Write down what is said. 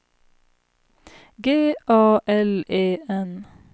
G A L E N